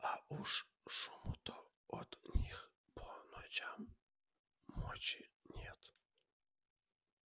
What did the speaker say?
а уж шуму-то от них по ночам мочи нет